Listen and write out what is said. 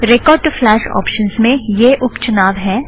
record to flash option में यह उप चुनाव हैं